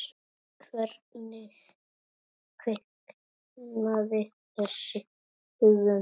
Hvernig kviknaði þessi hugmynd?